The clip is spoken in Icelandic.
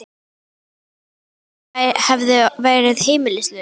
Hugsaðu þér ef ég hefði verið heimilislaus.